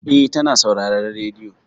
Eh, ta na sauraren rediyo.